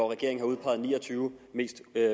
regeringen har udpeget ni og tyve